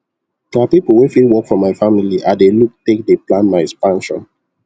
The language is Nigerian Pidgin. na people wey fit work for my family i dey look take dey plan my expansion